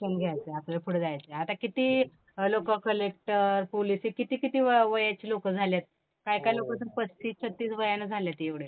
शिक्षण घ्यायचंय, आपल्याला पुढं जायचंय. आता किती अ, लोक कलेक्टर, पोलीस हे किती किती व, वयाची लोक झाल्यात. काय काय लोक अजून पस्तीस, छत्तीस वयानं झाल्यात एवढे